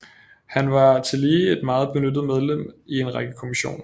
Han var tillige et meget benyttet medlem i en række kommissioner